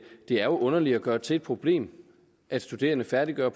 er underligt at gøre det til et problem at studerende færdiggør